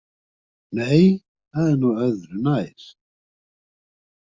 Nei, það er nú öðru nær.